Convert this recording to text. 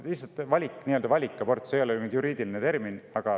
Nii-öelda valikabortidest – see ei ole juriidiline termin.